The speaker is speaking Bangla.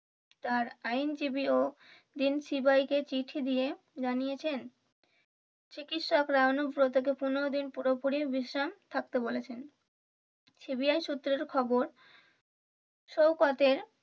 তার আইনজীবী ও কে চিঠি দিয়ে জানিয়েছেন চিকিৎসকরা অনুব্রতকে পনেরো দিন পুরোপুরি বিশ্রাম থাকতে বলেছেন CBI সূত্রের খবর শওকতের